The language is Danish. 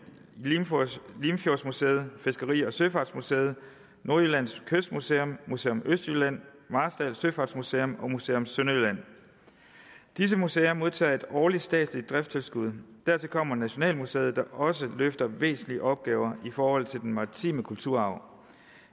limfjordsmuseet fiskeri og søfartsmuseet nordjyllands kystmuseum museum østjylland marstal søfartsmuseum og museum sønderjylland disse museer modtager et årligt statsligt driftstilskud dertil kommer nationalmuseet der også løfter væsentlige opgaver i forhold til den maritime kulturarv